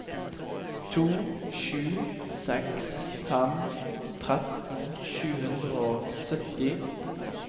to sju seks fem tretten sju hundre og sytti